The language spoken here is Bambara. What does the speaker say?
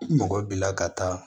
I mɔgɔ b'i la ka taa